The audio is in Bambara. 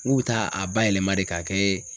N k'u bɛ taa a ba yɛlɛma de k'a kɛ